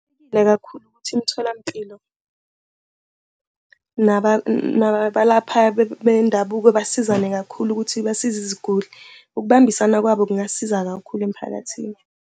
Kubalulekile kakhulu ukuthi imtholampilo nabalaphayo bendabuko basizane kakhulu ukuthi basize iziguli. Ukubambisana kwabo kungasiza kakhulu emphakathini.